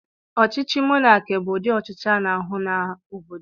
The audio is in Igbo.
Ọchịchị monakị bụ ụdị ọchịchị ana-ahụ n'obodo.